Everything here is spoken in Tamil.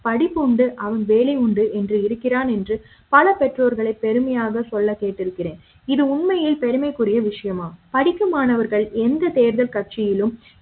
படிப்பு உண்டு அவர் வேலை உண்டு என்று இருக்கிறார் என்று பல பெற்றோர்கள் பெருமை யாக சொல்லக் கேட்டிருக்கிறேன் இது உண்மையில் பெருமைக்குரிய விஷயமா படிக்கும் மாணவர்கள் எந்த தேர்தல் கட்சியிலும்